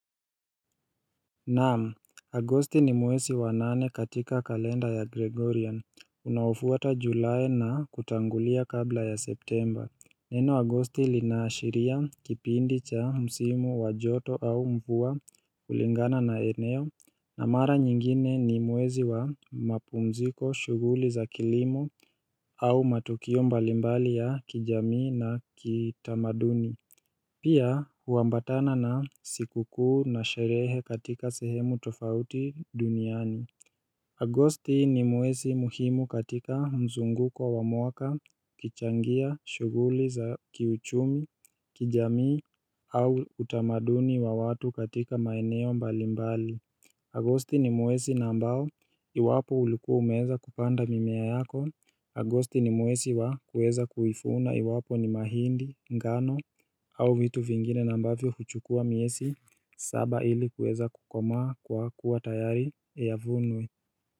Naam, Agosti ni mwezi wa nane katika kalenda ya Gregorian, unaofuata july na kutangulia kabla ya September Neno Agosti linaashiria kipindi cha msimu wa joto au mvua kulingana na eneo na mara nyingine ni mwezi wa mapumziko shughuli za kilimo au matukio mbalimbali ya kijamii na kitamaduni Pia huambatana na sikukuu na sherehe katika sehemu tofauti duniani. Agosti ni mwezi muhimu katika mzunguko wa mwaka, ikichangia, shughuli za kiuchumi, kijamii au utamaduni wa watu katika maeneo mbalimbali. Agosti ni mwezi na ambao, iwapo ulikuwa umeeza kupanda mimea yako. Agosti ni mwezi wa kuweza kuivuna iwapo ni mahindi, ngano au vitu vingine na ambavyo huchukua miezi saba ili kuweza kukomaa kwa kuwa tayari yavunwe.